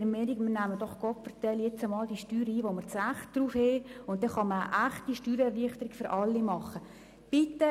Nehmen wir jetzt doch «Gopferdelli» diejenigen Steuern ein, auf die wir ein Recht haben, sodass man eine echte Steuererleichterung für alle umsetzen kann.